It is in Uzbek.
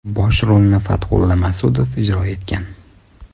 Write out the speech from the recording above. Bosh rolni Fatxulla Ma’sudov ijro etgan.